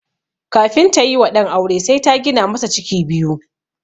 Kafin tayi wa ɗan aure sai ta gina masa ciki biyu.